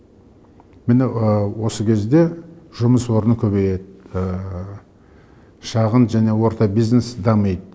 міне осы кезде жұмыс орны көбейеді шағын және орта бизнес дамиды